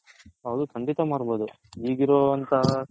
ಹೌದು ಕಂಡಿತ ಮರ್ಬೌದು ಈಗಿರೋ ಅಂತಹ